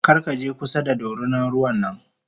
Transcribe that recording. Karkaje kusa da dorinan ruwan nan m